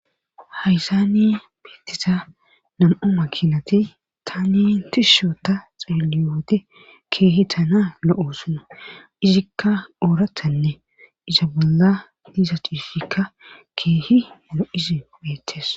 Hayzaani beettisa nam'o makinati ta ni tisusho ta xeeliyoote keehi tana lo'o sona izikka oorathanne isa bolla diisa xiufikka keehi mana'isi beettees.